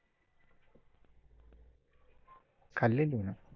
खाल्लेली ना.